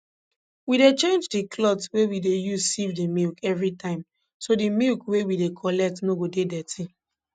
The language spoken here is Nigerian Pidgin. we dey change di cloth wey we dey use sieve di milk every time so di milk wey we dey collect no go dey dirty